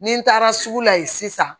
Ni n taara sugu la ye sisan